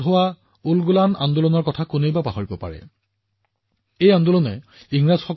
উলগুলান আন্দোলনত তেওঁৰ নেতৃত্ব কোনে পাহৰিব পাৰে এই আন্দোলনে ব্ৰিটিছসকলক হতবাক কৰিছিল